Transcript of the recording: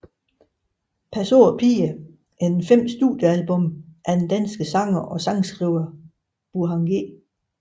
Pas på pigerne er det femte studiealbum af den danske sanger og sangskriver Burhan G